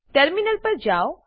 terminal પર જાવ